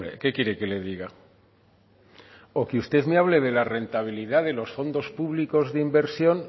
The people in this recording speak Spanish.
qué quiere que le diga o que usted me hable de la rentabilidad de los fondos públicos de inversión